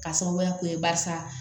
K'a sababuya kɛ barisa